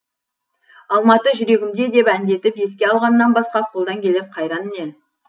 алматы жүрегімде деп әндетіп еске алғаннан басқа қолдан келер қайран не